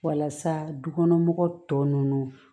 Walasa dukɔnɔmɔgɔw tɔ ninnu